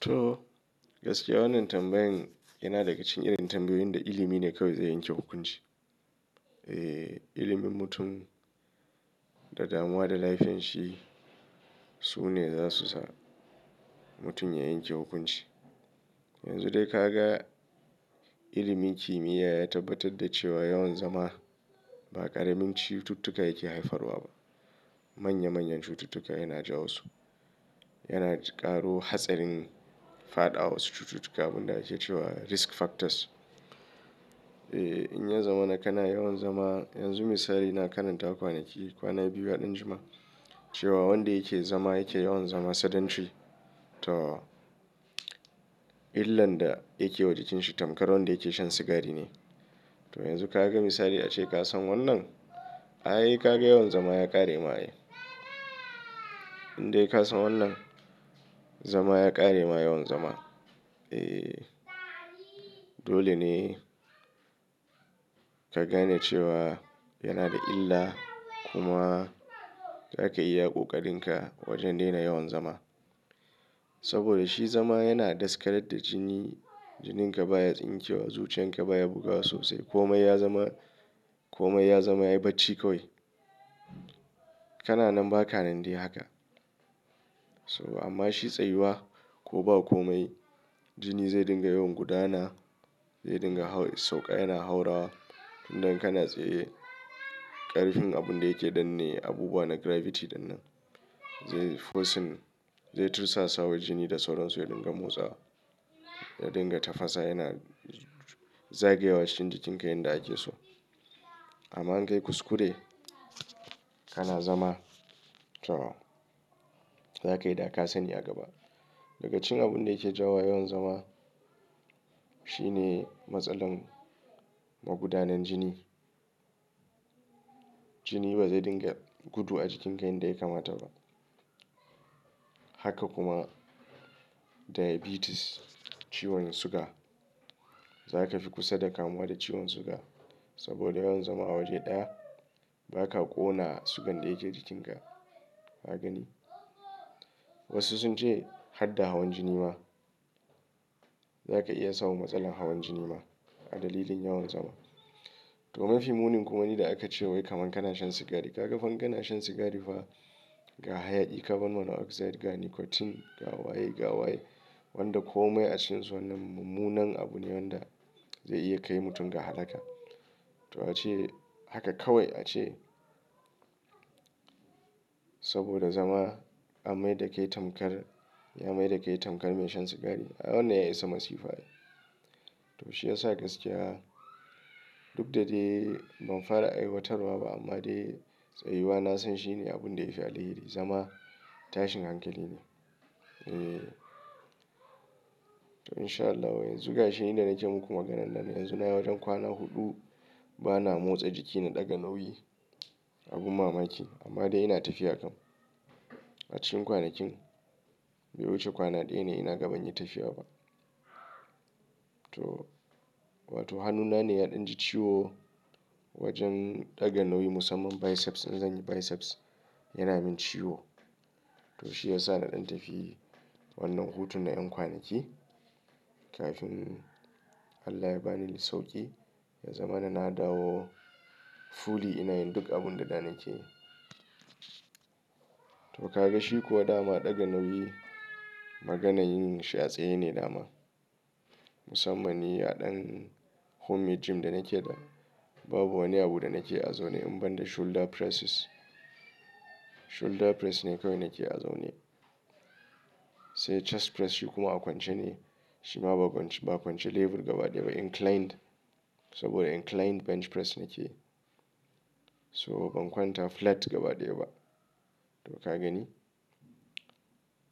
To gaskiya wannan tambayan yana daga cikin irin tambayoyin da ilimi ne kawai zai yanke hukunci. Eh ilimin mutum da damuwa da laifanshi su ne za su sa mutum ya yanke hukunci. Yanzu dai ka ga ilimin kimiyya ya tabbatar da cewa yawan zama ba ƙaramin cututtuka yake haifarwa ba. Manya manyan cututtuka yana jawo su. Yana ƙaro hatsarin faɗawa wasu cututtuka abun da ake cewa risk factors. Eh in ya zamana kana yawan zama yanzu misali ina karanta kwanaki kwana biyu ya ɗan jima cewa wanda yake zama yake yawan zama sedentary to illan da yake wa jikinshi tamkar wanda yake shan sigari ne. To yanzu ka ga misali ace ka san wannan? Ai ka ga yawan zama ya ƙare ma. In dai ka san wannan zama ya ƙare ma yawan zama. Eh dole ne ka gane cewa yana da illa kuma zaka yi iya ƙoƙarinka wajen daina yawan zama. Saboda shi zama yana daskarar da jini. Jininka baya tsinke wa zuciyanka baya bugawa sosai komai ya zama komai ya zama yayi bacci kawai. Kana nan ba ka nan dai haka. So amma shi tsayuwa ko ba komai jini zai dinga yawan gudana zai dinga sauƙa yana haura tunda in kana tsaye ƙarfin abun da yake danne abubuwa na gravity dannan zai-- forcing zai tursasa wa jini da sauran su ya dinga motsawa ya dinga tafasa yana zagayawa cikin jikinka yanda ake so. Amma in ka yi kuskure kana zama to zaka yi daka-sani a gaba. Daga cikinn abun da yake jawowa yawan zama shi ne matsalar magudanar jini. Jini ba zai dinga gudu a jikin ka yanda ya kamata ba. Haka kuma diabetes ciwon suga zaka fi kusa da kamuwa da ciwon suga saboda yawan zama waje ɗaya baka ƙona sugan da yake jikinka. Ka gani? Wasu sun ce har da hawan jini ma zaka iya samun matsalar hawan jini ma a dalilin yawan zama. To mafi munin kuma ni da aka ce wai kaman kana shan sigari ka ga fa in kana shan sigari fa ga hayaƙi carbon monoxide ga nicotine ga waye ga waye wanda komai a cikin su wannan mummunan abu ne wanda zai iya kai mutum ga halaka. To ace haka kawai ace saboda zama an maida kai tamkar ya maida kai tamkar mai shan sigari a wannan ya isa masifa ae. To shi yasa gaskiya duk da dai ban fara aiwatarwa ba amma dai tsayuwa na san shi ne abun da yafi alheri zama tashin hankali ne. Eh to in sha Allahu yanzu ga shi inda nake muku maganan nan yanzu na yi wajen kwana huɗu bana motsa jiki na ɗaga nauyi abin mamaki amma dai ina tafiya kam. A cikin kwanakin bai wuce kwana ɗaya ne ina gaban yi tafiya ba. To wato hannuna ne ya ɗan ji ciwo wajen ɗaga nauyi musamman biceps in zanyi biceps yana min ciwo. To shi yasa na ɗan tafi wannan hutun na ƴan kwanaki kafin Allah ya bani sauƙi ya zamana na dawo fully ina yin duk abun da da nake yi. To ka ga shi kuwa dama ɗaga nauyi maganayin shi a tsaye ne dama. Musamman ni a ɗan homemade gym da nake da babu wani abu da nake a zaune in ban da shoulder presses. Shoulder press ne kawai nake azaune. Sai chest press shi kuma a kwance ne shi ba a kwance ba a kwance lebur gaba ɗaya inclined saboda inclined bench press nake yi. So ban kwanta flat gabaɗaya ba. To ka gani?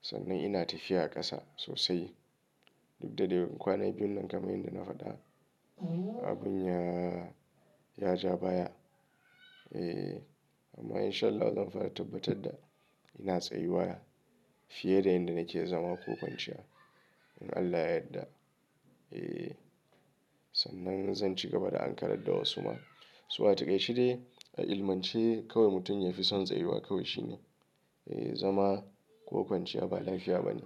Sannan ina tafiya a ƙasa sosai duk da dai kwanai biyun nan kamar inda na faɗa abun ya ya ja baya. Ee amma in sha Allahu zan fara tabbatar da ina tsayuwa fiye da inda nake zama ko kwanciya in Allah ya yadda. Ee sannan zan ci gaba da ankarar da wasu ma. To a taƙaice dai a ilimance kawai mutum yafi son tsayuwa kawai shi ne. Ee zama ko kwanciya ba lafiya ba ne.